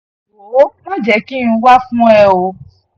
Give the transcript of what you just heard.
wọ́ọ̀ mà jẹ́ kí n wá fún ẹ o